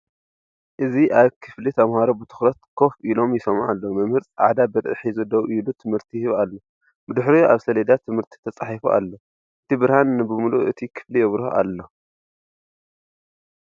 እዚ ኣብ ክፍሊ ተምሃሮ ብትኹረት ኮፍ ኢሎም ይሰምዑ ኣለዉ። መምህር ጻዕዳ ብርዒ ሒዙ ደው ኢሉ ትምህርቲ ይህብ ኣሎ፤ ብድሕሪኡ ኣብ ሰሌዳ ትምህርቲ ተጻሒፉ ኣሎ። እቲ ብርሃን ንብምልኡ እቲ ክፍሊ የብርሆ ኣሎ።